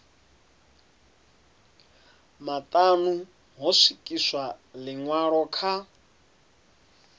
maṱanu ho swikiswa ḽiṅwalo kha